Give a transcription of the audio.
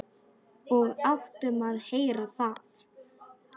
Og áttum að heyra það.